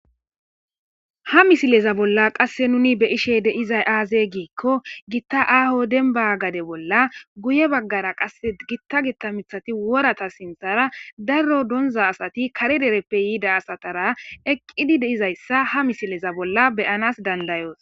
ha misileza bolla qasse nuni be ishe deizay aaze giikko gitta aaho denba gade bolla guye baggara qae gitta gitta mithati worata sinthara darro donza asati kare dereppe yiida asatara eqqidi deizayssa ha misileza bolla beyanas dandayoos